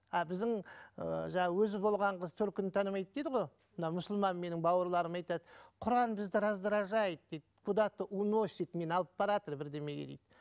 а біздің ііі жаңа өзі болған қыз төркінін танымайды дейді ғой мына мұсылман менің бауырларым айтады құран бізді раздражает дейді куда то уносит мені алып баратыр бірдемеге дейді